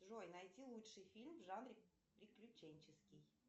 джой найти лучший фильм в жанре приключенческий